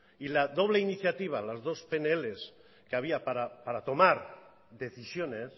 y la doble iniciativa las dos pnl que había para tomar decisiones